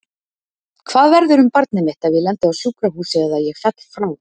Hvað verður um barnið mitt ef ég lendi á sjúkrahúsi eða ég fell frá?